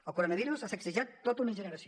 el coronavirus ha sacsejat tota una generació